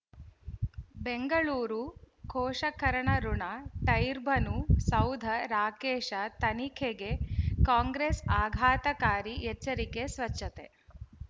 ಬೆಂಗಳೂರು ಪೋಷಕರಋಣ ಟೈರ್ ಬನು ಸೌಧ ರಾಕೇಶ್ ತನಿಖೆಗೆ ಕಾಂಗ್ರೆಸ್ ಆಘಾತಕಾರಿ ಎಚ್ಚರಿಕೆ ಸ್ವಚ್ಛತೆ